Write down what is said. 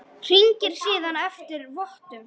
Hringir síðan eftir vottum.